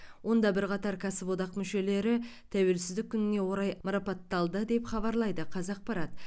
онда бірқатар кәсіподақ мүшелері тәуелсіздік күніне орай марапатталды деп хабарлайды қазақпарат